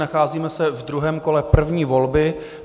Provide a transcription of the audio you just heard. Nacházíme se v druhém kole první volby.